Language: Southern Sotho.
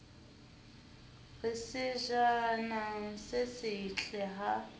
re sejana se setle ha